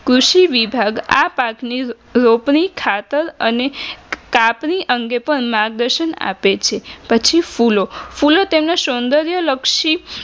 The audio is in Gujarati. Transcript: કૃષિ વિભાગ આ પાકની રોપણી ખાતર અને તાપની અંગે પણ માર્ગદર્શન આપે છે પછી ફૂલો ફૂલો તેમનો સોંદર્ય લક્ષી